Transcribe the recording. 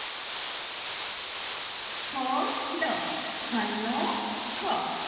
ખ ખલનો ખ